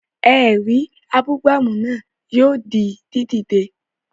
Ẹ̀rí abúgbàmù náà yóò di dídè